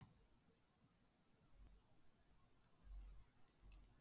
Enda ekki við öðru að búast